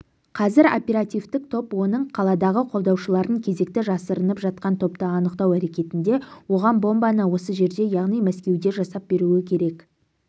қазір оперативтік топ оның қаладағы қолдаушыларын кезекті жасырынып жатқан топты анықтау әрекетінде оған бомбаны осы жерде яғни мәскеуде жасап беруі керек